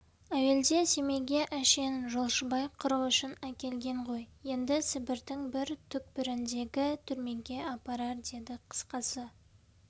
әуелде семейге әшейін жолшыбай қыру үшін әкелген ғой енді сібірдің бір түкпіріндегі түрмеге апарар дедік қысқасы